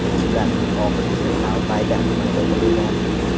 Ularning oxirgisi Tal-Baydar tumanida qurilgan.